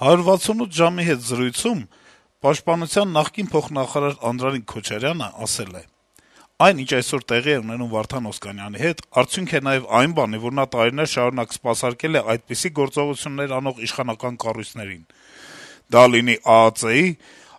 «168 ժամ»-ի հետ զրույցում Պաշտպանության նախկին փոխնախարար Անդրանիկ Քոչարյանը ասել է. - «Այն, ինչ այսօր տեղի է ունենում Վարդան Օսկանյանի հետ, արդյունք է նաեւ այն բանի, որ նա տարիներ շարունակ սպասարկել է այդպիսի գործողություններ անող իշխանական կառույցներին` դա կլինի ԱԱԾ-ի՞,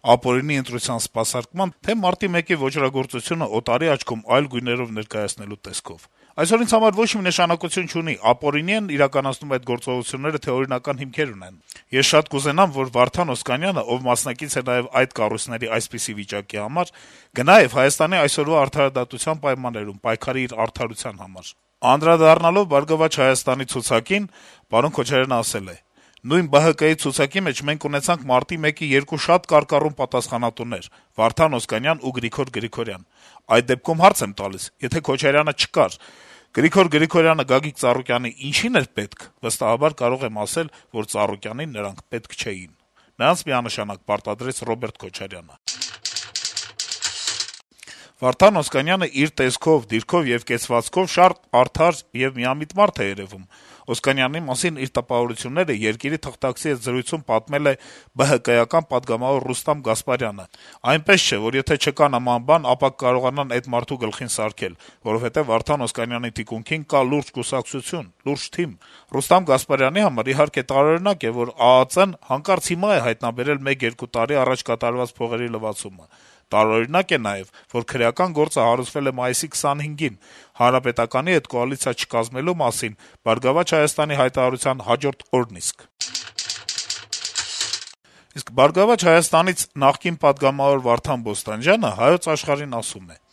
ապօրինի ընտրության սպասարկմա՞ն, թե՞ Մարտի 1-ի ոճրագործությունն օտարի աչքում այլ գույներով ներկայացնելու տեսքով: Այսօր ինձ համար ոչ մի նշանակություն չունի` ապօրինի՞ են իրականացնում այդ գործողությունները, թե՞ օրինական հիմքեր ունեն: Ես շատ կուզենամ, որ Վարդան Օսկանյանը, ով մասնակից է նաեւ այդ կառույցների այսպիսի վիճակի համար, գնա եւ Հայաստանի այսօրվա արդարադատության պայմաններում պայքարի իր արդարության համար»: Անդրադառնալով «Բարգավաճ Հայաստան»-ի ցուցակին` Քոչարյանն ասել է. -« Նույն ԲՀԿ-ի ցուցակի մեջ մենք ունեցանք Մարտի 1-ի երկու շատ կարկառուն պատասխանատուներ` Վարդան Օսկանյանն ու Գրիգոր Գրիգորյանը: Այդ դեպքում հարց եմ տալիս` եթե Ռոբերտ Քոչարյանը չկար, Գրիգոր Գրիգորյանը Գագիկ Ծառուկյանի ինչի՞ն էր պետք: Վստահաբար կարող եմ ասել, որ Ծառուկյանին նրանք պետք չէին: Նրանց միանշանակ պարտադրեց Ռ.Քոչարյանը»: «Վարդան Օսկանյանն իր տեսքով, դիրքով եւ կեցվածքով շատ արդար եւ միամիտ մարդ է երեւում», - Օսկանյանի մասին իր տպավորությունները «Երկիր»-ի թղթակցի հետ զրույցում պատմել է ԲՀԿ-ական պատգամավոր Ռուստամ Գասպարյանը: - «Այնպես չէ, որ եթե չկա նման բան, ապա կկարողանան էդ մարդու գլխին սարքել, որովհետեւ Վարդան Օսկանյանի թիկունքին կա լուրջ կուսակցություն, լուրջ թիմ»: «Գասպարյանի համար, իհարկե, տարօրինակ է, որ ԱԱԾ-ն հանկարծ հիմա է հայտնաբերել մեկ-երկու տարի առաջ կատարված «փողերի լվացումը»: Տարօրինակ է նաեւ, որ քրեական գործը հարուցվել է մայիսի 25-ին` ՀՀԿ-ի հետ կոալիցիա չկազմելու մասին ԲՀԿ-ի հայտարարության հաջորդ օրն իսկ», - գրում է թերթը: Իսկ ԲՀԿ-ից նախկին պատգամավոր Վարդան Բոստանջյանը «Հայոց Աշխարհ»-ին ասում է. -«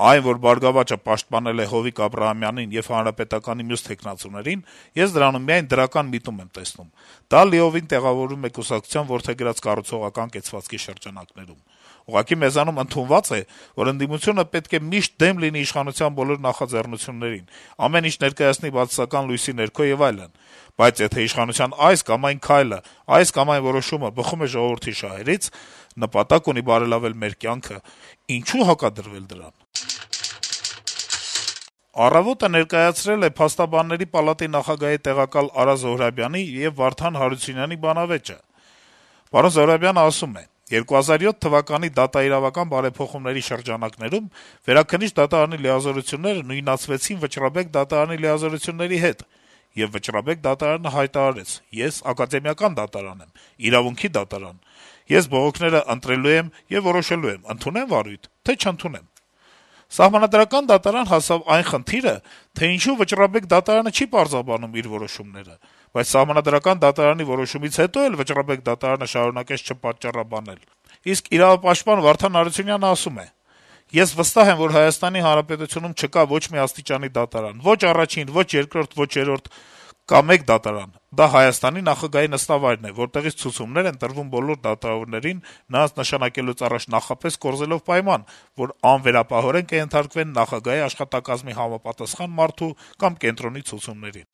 «Այն, որ «Բարգավաճը» պաշտպանել է Հովիկ Աբրահամյանին եւ ՀՀԿ մյուս թեկնածուներին՝ ես դրանում միայն դրական միտում եմ տեսնում։ Դա լիովին տեղավորվում է կուսակցության որդեգրած կառուցողական կեցվածքի շրջանակներում։ Ուղղակի մեզանում ընդունված է, որ ընդդիմությունը պետք է միշտ դեմ լինի իշխանության բոլոր նախաձեռնություններին, ամեն ինչ ներկայացնի բացասական լույսի ներքո եւ այլն։ Բայց եթե իշխանության այս կամ այն քայլը, այս կամ այն որոշումը բխում է ժողովրդի շահերից՝ նպատակ ունի բարելավել մեր քաղաքացիների կյանքը՝ ինչո՞ւ հակադրվել դրան»։ «Առավոտ»-ը ներկայացրել է Փաստաբանների պալատի նախագահի տեղակալ Արա Զոհրաբյանի եւ Վարդան Հարությունյանի բանավեճը: Զոհրաբյանը ասում է. - «2007 թվականի դատաիրավական բարեփոխումների շրջանակներում Վերաքննիչ դատարանի լիազորությունները նույնացվեցին Վճռաբեկ դատարանի լիազորությունների հետ: Եվ Վճռաբեկ դատարանը հայտարարեց՝ ես «ակադեմիական» դատարան եմ՝ իրավունքի դատարան: Ես բողոքները ընտրելու եմ եւ որոշեմ՝ ընդունե՞մ վարույթ, թե՞ չընդունեմ: Սահմանադրական դատարան հասավ նաեւ այն խնդիրը, թե ինչու Վճռաբեկ դատարանը չի պատճառաբանում իր որոշումները: Բայց Սահմանադրական դատարանի որոշումից հետո էլ Վճռաբեկ դատարանը շարունակեց չպատճառաբանել»: Իսկ իրավապաշտպան Վարդան Հարությունյանը ասում է. - «Ես վստահ եմ, որ Հայաստանի Հանրապետությունում չկա ոչ մի աստիճանի դատարան՝ ոչ առաջին, ոչ երկրորդ, ոչ երրորդ, կա մեկ դատարան՝ դա Հայաստանի նախագահի նստավայրն է, որտեղից ցուցումներ են տրվում բոլոր դատավորներին՝ նրանց նշանակելուց առաջ նախապես կորզելով պայման, որ անվերապահորեն կենթարկվեն ՀՀ նախագահի աշխատակազմի համապատասխան մարդու կամ կենտրոնի ցուցումներին»: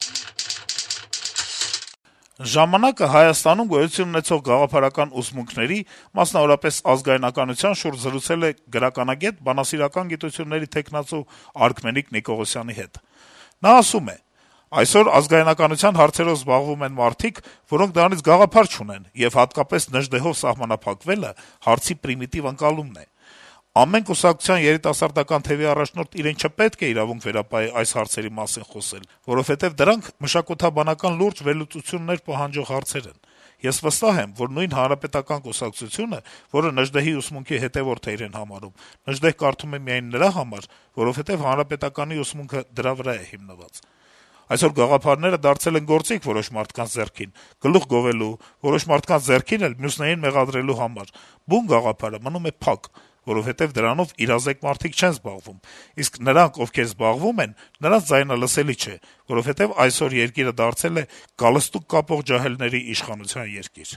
«Ժամանակ»-ը Հայաստանում գոյություն ունեցող գաղափարական ուսմունքների, մասնավորապես, ազգանյականության շուրջ զրուցել է գրականագետ, բանասիրական գիտությունների թեկնածու Արքմենիկ Նիկողոսյանի հետ: Նա ասում է. - «Այսօր ազգայնականության հարցերով զբաղվում են մարդիկ, որոնք դրանից գաղափար չունեն, եւ հատկապես Նժդեհով սահմանափակվելը հարցի պրիմիտիվ ընկալումն է: Ամեն կուսակցության երիտասարդական թեւի առաջնորդ իրեն չպետք է իրավունք վերապահի այս հարցերի մասին խոսել, որովհետեւ դրանք մշակութաբանական լուրջ վերլուծություններ պահանջող հարցեր են: Ես վստահ եմ, որ նույն Հանրապետական կուսակցությունը, որը Նժդեհի ուսմունքի հետեւորդ է իրեն համարում, Նժդեհ կարդում է միայն նրա համար, որովհետեւ Հանրապետականի ուսմունքը դրա վրա է հիմնված: Այսօր գաղափարները դարձել են գործիք որոշ մարդկանց ձեռքին` գլուխ գովելու, որոշ մարդկանց ձեռքին էլ` մյուսներին մեղադրելու համար: Բուն գաղափարը մնում է փակ, որովհետեւ դրանով իրազեկ մարդիկ չեն զբաղվում, իսկ նրանք, ովքեր զբաղվում են, նրանց ձայնը լսելի չէ, որովհետեւ այսօր երկիրը դարձել է «գալստուկ» կապող ջահելների իշխանության երկիր»: